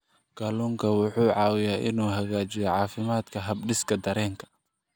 Kalluunku wuxuu caawiyaa inuu hagaajiyo caafimaadka habdhiska dareenka.